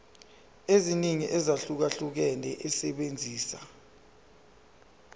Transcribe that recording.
eziningi ezahlukahlukene esebenzisa